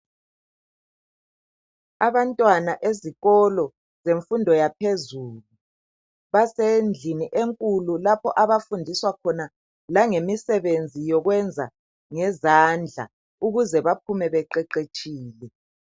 Abantwana ezikolo lemfundo yaphezulu basendlini enkulu lapho abafundiswa khona langemsebenzi yokwenza ngezandla ukuze baphume beqeqetshile.